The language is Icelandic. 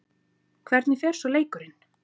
Hvernig fer svo leikurinn?